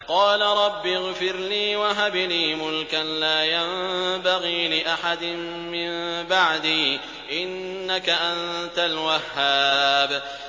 قَالَ رَبِّ اغْفِرْ لِي وَهَبْ لِي مُلْكًا لَّا يَنبَغِي لِأَحَدٍ مِّن بَعْدِي ۖ إِنَّكَ أَنتَ الْوَهَّابُ